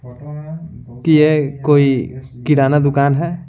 कि यह कोई किराना दुकान है।